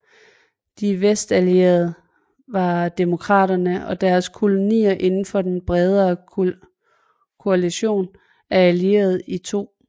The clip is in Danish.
De Vestallierede var demokratierne og deres kolonier indenfor den bredere koalision af Allierede i 2